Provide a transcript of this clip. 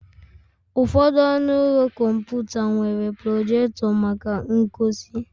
Ụfọdụ ọnụ ụlọ kọmputa nwere projector maka ngosi.